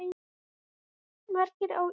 Margir á Írskum dögum